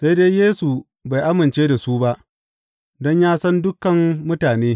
Sai dai Yesu bai amince da su ba, don ya san dukan mutane.